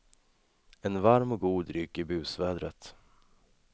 En varm och god dryck i busvädret.